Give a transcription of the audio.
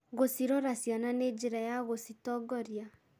Gũcirora ciana nĩ njĩra ya gũcitongoria.